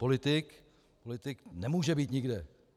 Politik nemůže být nikde.